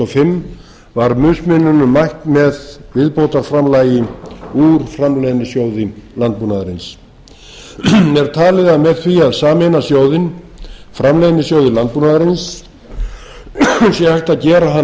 fimm var mismuninum mætt með viðbótarframlagi úr framleiðnisjóði landbúnaðarins er talið að með því að sameina sjóðinn framleiðnisjóði landbúnaðarins sé hægt